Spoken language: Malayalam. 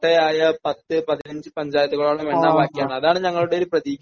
കോട്ടയായ പത്ത് പതിനഞ്ച് പഞ്ചായത്തുകളാണ് എണ്ണാൻ ബാക്കി അതാണ് ഞങ്ങളുടെ ഒരു പ്രതീക്ഷ